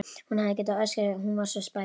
Hún hefði getað öskrað, hún var svo spæld.